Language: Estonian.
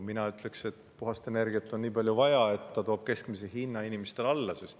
Mina ütleks, et puhast energiat on nii palju vaja, et ta toob keskmise hinna inimestele alla.